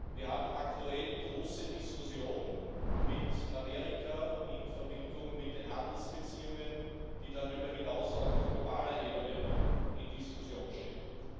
Wir haben aktuell große Diskussionen mit Amerika in Verbindung mit den Handelsbeziehungen, die darüber hinaus auch auf globaler Ebene zur Diskussion stehen.